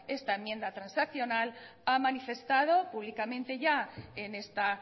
esta enmienda transaccional ha manifestado públicamente ya en esta